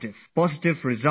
Positive results will follow